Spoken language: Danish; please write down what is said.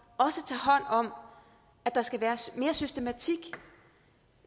også tager hånd om at der skal være mere systematik